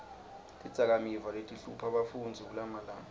tidzakamiva letihlupha bafundzi kulamalanga